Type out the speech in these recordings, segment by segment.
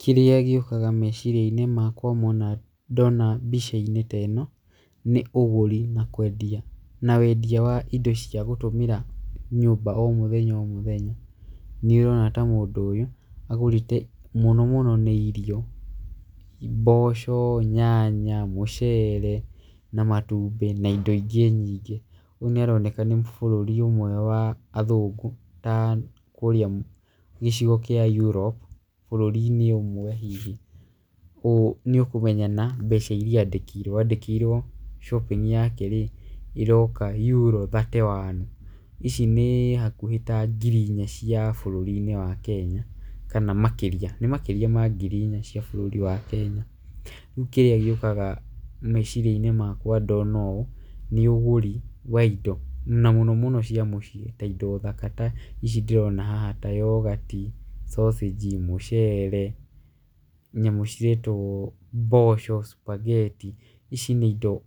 Kĩrĩa gĩũkaga meciria-inĩ makwa wona ndona mbica-inĩ ta ĩno nĩ ũgũri na kwendia na wendia wa indo cia gũtũmĩra nyũmba o mũthenya o mũthenya. Nĩ ũrona ta mũndũ ũyũ agũrĩte mũno mũno nĩ irio mboco nyanya mũcere na matumbĩ na indo ingĩ nyingĩ ũyũ nĩ aroneka nĩ bũrũri ũmwe wa athũngũ na kũrĩa gĩcigo kĩa Europe bũrũri-inĩ ũmwe hihi nĩ ukumenya na mbeca iria andĩkĩirwo andĩkĩirwo shopping yake ĩroka Euro thirty one. Ici nĩ hakuhĩ ta ngiri inya cia bũrũri-inĩ wa Kenya kana makĩria nĩ makĩria ma ngiri inya cia bũrũri wa Kenya. Rĩu kĩrĩa gĩũkaga meciria-inĩ makwa ndona ũũ nĩ ũgũri wa indo na mũno mũno indo cia mũciĩ ta indo thaka ta ici ndĩrona haha ta yoghurt, sausage mũcere nyamũ ciretwo mboco sphagetti. Ici nĩ indo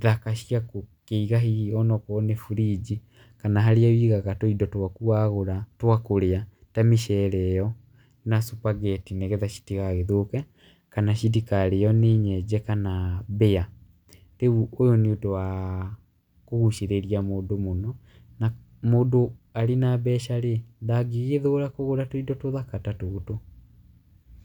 thaka cia gũkĩiga hihi onakorwo nĩ fridge kana harĩa ũigaga tũindo twaku wagũra ntwa kũrĩa ta mĩcere ĩyo na sphagetti nĩ getha itigagĩthũke kana citikario nĩ nyenje kana mbĩa. Rĩu ũyũ nĩ ũndũ wa kũgucĩrĩria mũndũ mũno na mũndũ arĩ nambeca rĩ ndagĩgĩthũra kũgũra tũindo tũthaka ta tũtũ.